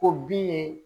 O bin ye